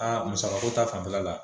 Aa musaka ko ta fanfɛla la